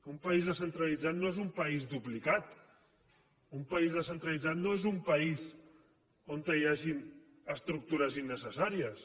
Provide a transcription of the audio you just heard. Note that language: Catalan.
un país descentralitzat no és un país duplicat un país descentralitzat no és un país on hi hagin estructures innecessàries